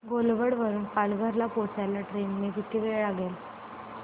घोलवड वरून पालघर ला पोहचायला ट्रेन ने किती वेळ लागेल